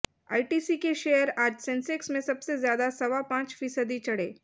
ITC के share आज Sensex में सबसे ज्यादा सवा पांच फीसदी चढ़े